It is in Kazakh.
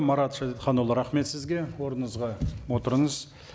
марат шәдетханұлы рахмет сізге орныңызға отырыңыз